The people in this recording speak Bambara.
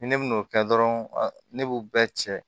Ni ne bi n'o kɛ dɔrɔn ne b'u bɛɛ cɛ